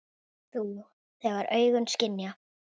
Þú, þegar augun skynja.